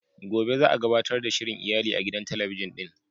Gobe za a gabatar da shirin iyali a gidan talabijin din.